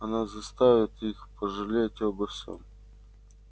она заставит их пожалеть обо всём